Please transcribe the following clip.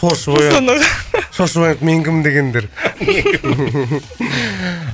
шошып оянып шошып оянып мен кім дегендер